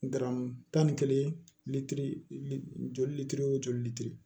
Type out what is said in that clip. Garamu tan ni kelen litiri li joli litiri o joli litiri